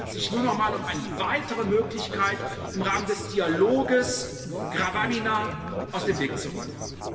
Es handelt sich nur noch mal um eine weitere Möglichkeit, im Rahmen des Dialoges Gravamina aus dem Weg zu räumen.